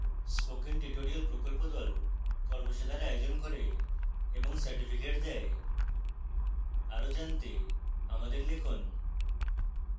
spoken tutorial প্রকল্প the কর্মশালার আয়োজন করে এবং certificates দেয়